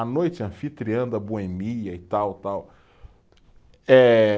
À noite, anfitriã da boemia e tal, tal, eh.